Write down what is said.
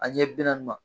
A ɲɛ bi naani ma